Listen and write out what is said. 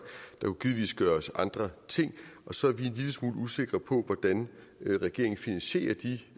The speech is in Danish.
kunne givetvis gøres andre ting og så er vi en lille smule usikre på hvordan regeringen finansierer de